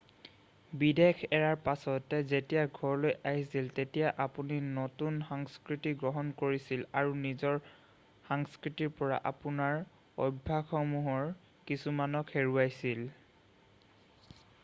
বিদেশ এৰাৰ পাছত যেতিয়া ঘৰলৈ আহিছিল তেতিয়া আপুনি নতুন সংস্কৃতি গ্ৰহণ কৰিছিল আৰু নিজৰ সংস্খৃতিৰ পৰা আপোনাৰ অভ্যাসসমূহৰ কিছুমানক হেৰুৱাইছিল৷